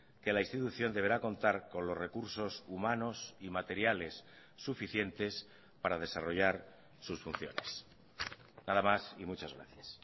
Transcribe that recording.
que la institución deberá contar con los recursos humanos y materiales suficientes para desarrollar sus funciones nada más y muchas gracias